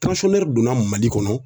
donna Mali kɔnɔ